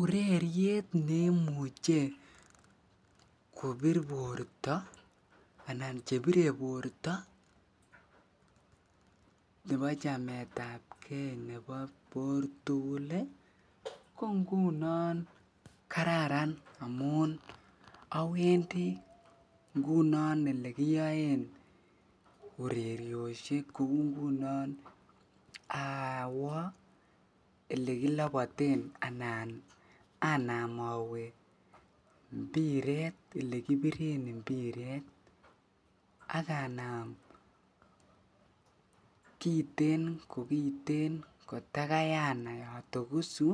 Ureriet neimuche kobir borto anan chebire borto chebo chametab bor tukul ko ngunon kararn amun awendi ngunon elekiyoen urerioshek kouu ngunon awoo elekiloboten anan anaam owee mpiret elee kibiren mpiret ak anaam kiten ko kiten kotakai anai otokosu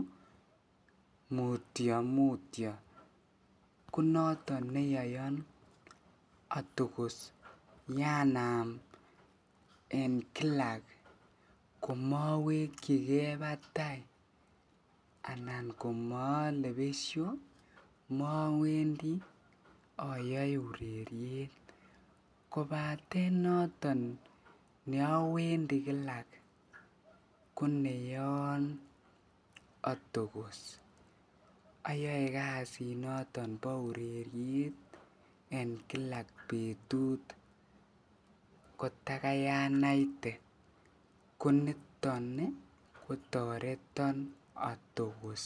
mutio mutio, ko noton neyoyon otokos yanaam en kila komowekyike batai anan komole besho mowendi oyoe ureriet kobaten noton neowendi kilak koneyoon otokos, oyoee kasinoton bo ureriet en kilak betut kotakai anaite, ko niton ko toreton atokos.